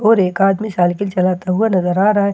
और एक आदमी साइकिल चलाता हुआ नजर आ रहा है।